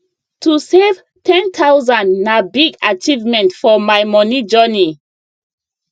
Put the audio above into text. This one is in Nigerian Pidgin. to save 10000 na big achievement for my moni journey